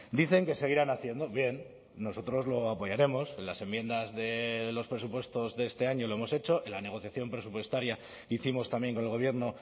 dicen que seguirán haciendo bien nosotros lo apoyaremos las enmiendas de los presupuestos de este año lo hemos hecho en la negociación presupuestaria hicimos también con el gobierno